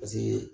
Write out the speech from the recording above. Paseke